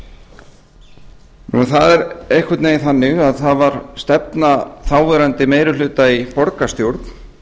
það er einhvern veginn þannig að það var stefna þáverandi meiri hluta í borgarstjórn